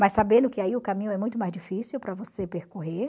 Mas sabendo que aí o caminho é muito mais difícil para você percorrer.